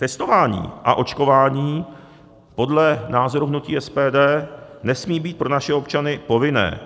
Testování a očkování podle názoru hnutí SPD nesmí být pro naše občany povinné.